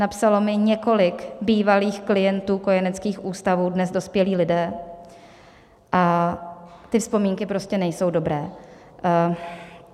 Napsalo mi několik bývalých klientů kojeneckých ústavů, dnes dospělých lidí, a ty vzpomínky prostě nejsou dobré.